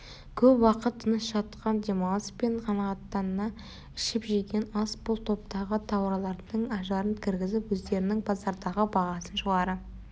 көп уақыт тыныш жатқан демалыс пен қанағаттана ішіп-жеген ас бұл топтағы тауарлардың ажарын кіргізіп өздерінің базардағы бағасын жоғары